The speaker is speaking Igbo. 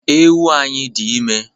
Ewu anyị dị ime